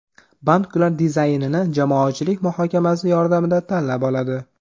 Bank ular dizaynini jamoatchilik muhokamasi yordamida tanlab oladi.